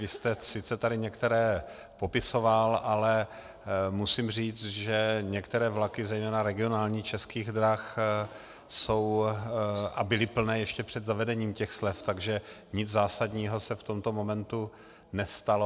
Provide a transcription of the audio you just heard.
Vy jste tady sice některé popisoval, ale musím říct, že některé vlaky, zejména regionální, Českých drah jsou a byly plné ještě před zavedením těch slev, takže nic zásadního se v tomto momentu nestalo.